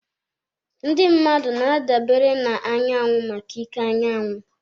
Ndị mmadụ na-adabere na anyanwụ maka ike anyanwụ.